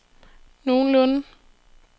nogenlunde